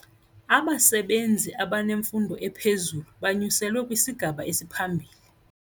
Abasebenzi abanemfundo ephezulu banyuselwe kwisigaba esiphambili.